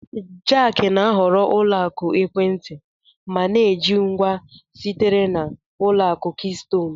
Jack na-ahọrọ ụlọ akụ ekwentị ma na-eji ngwa sitere na Ụlọ akụ Keystone